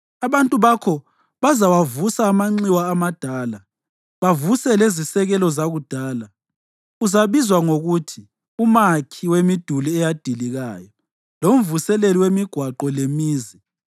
Abantu bakho bazawavusa amanxiwa amadala, bavuse lezisekelo zakudala. Uzabizwa ngokuthi uMakhi Wemiduli Eyadilikayo, loMvuseleli wemiGwaqo leMizi.